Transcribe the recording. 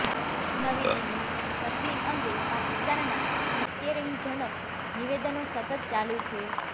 નવી દિલ્હીઃ કાશ્મીર અંગે પાકિસ્તાનનાં ઉશ્કેરણીજનક નિવેદનો સતત ચાલુ છે